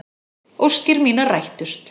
Óskir mínar rættust.